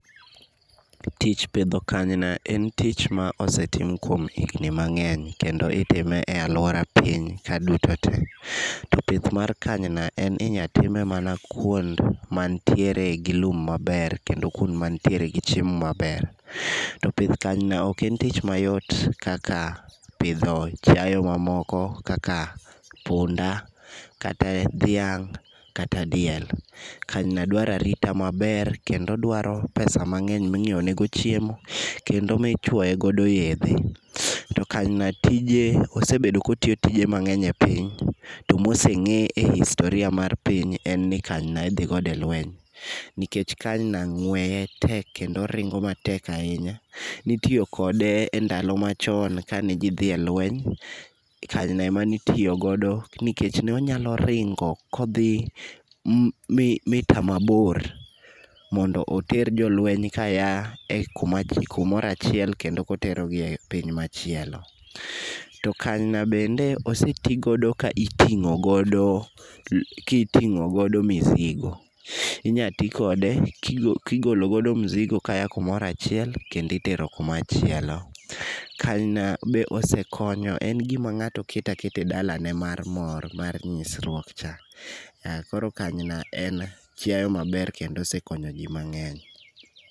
Tich pidho kanyina en tich ma osetim kuom higni mang'eny kendo itime e alwora piny ka duto te. To pith mar kanyina en inya time mana kwond manitiere gi lum maber, kendo kuond manitiere gi chiemo maber. To pith kanyina ok en tich mayot kaka pidho chiayo mamoko kaka punda kata dhiang' kata diel, kanyina dwaro arita maber kendo dwaro pesa mang'eny minyiewo nego chiemo, kendo michuone godo yedhe. To kanyina, tije osebedo kotiyo tije mang'eny e piny, to moseng'e ei historia mar piny en ni kanyina idhi godo e lweny, nikech kanyina ng'weye tek kendo oringo matek ahinya. Nitiyo kode e ndalo machon kane ji dhi e lweny, kanyo ema ne itiyo godo nikech nonyalo ringo kodhi mita mabor mondo oter jolweny kaya e kuma kumoro achiel kendo koterogi e piny machielo. To kanyina bende osetigodo ka iting'o godo mizigo. Inya ti kode kigolo godo mzigo kaya kumoro achiel kendo itero kumachielo. Kanyina be osekonyo ,en gima ng'ato keto aketa e dalane mar mor, mor nyisruok cha. Koro kanyina en chiao maber kendo osekonyo ji mang'eny.